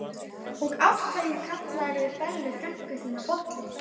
Og af hverju kallarðu Bellu frænku þína bollu?